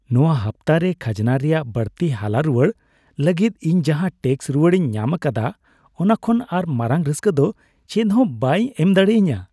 ᱱᱚᱶᱟ ᱦᱟᱯᱛᱟᱨᱮ ᱠᱷᱟᱡᱽᱱᱟ ᱨᱮᱭᱟᱜ ᱵᱟᱹᱲᱛᱤ ᱦᱟᱞᱟᱼᱨᱩᱣᱟᱹᱲ ᱞᱟᱹᱜᱤᱫ ᱤᱧ ᱡᱟᱦᱟᱸ ᱴᱮᱹᱠᱥ ᱨᱩᱣᱟᱹᱲᱤᱧ ᱧᱟᱢ ᱟᱠᱟᱫᱟ ᱚᱱᱟ ᱠᱷᱚᱱ ᱟᱨ ᱢᱟᱨᱟᱝ ᱨᱟᱹᱥᱠᱟᱹ ᱫᱚ ᱪᱮᱫᱦᱚᱸ ᱵᱟᱭ ᱮᱢ ᱫᱟᱲᱮᱭᱟᱹᱧᱟᱹ ᱾